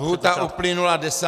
Lhůta uplynula 10. dubna.